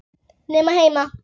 Nema heima.